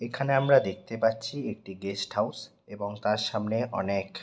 এখানে আমরা দেখতে পাচ্ছি একটি গেস্ট হাউস এবং তার সামনে অনেক--